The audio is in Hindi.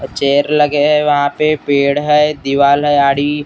चेयर लगे हैं वहां पे पेड़ हैं दीवाल हैं आड़ी अ।